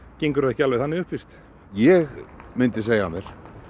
gengur það ekki alveg þannig upp víst ég myndi segja af mér